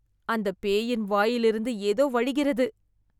அந்த பேயின் வாயில் இருந்து ஏதோ வழிகிறது